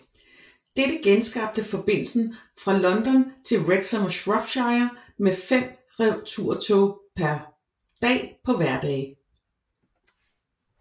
Dette genskabte forbindelsen fra London til Wrexham og Shropshire med fem returtoge per dag på hverdage